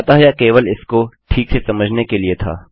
अतः यह केवल इसको ठीक से समझने के लिए था